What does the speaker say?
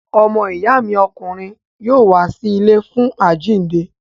Ọmọ ìyá mi ọkùnrin yóò wá sí ilé fún àjíǹde.